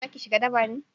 za ki shiga daba ne?